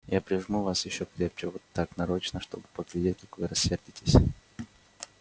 я прижму вас ещё крепче вот так нарочно чтобы поглядеть как вы рассердитесь